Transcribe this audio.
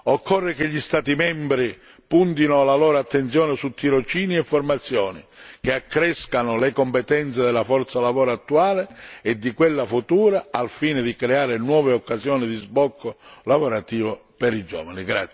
Occorre che gli Stati membri puntino la loro attenzione su tirocini e formazioni e accrescano le competenze della forza lavoro attuale e di quella futura, al fine di creare nuove occasioni di sbocco lavorativo per i giovani.